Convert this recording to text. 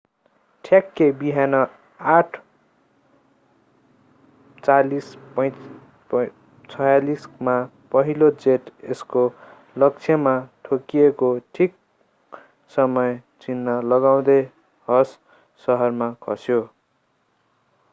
ठ्याक्कै बिहान 8:46 मा पहिलो जेट यसको लक्ष्यमा ठोकिएको ठीक समय चिन्ह लगाउँदै हस सहरमा खस्यो